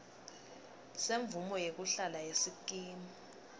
semvumo yekuhlala yesikimu